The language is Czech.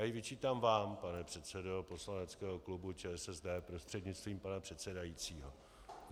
Já ji vyčítám vám, pane předsedo poslaneckého klubu ČSSD prostřednictvím pana předsedajícího.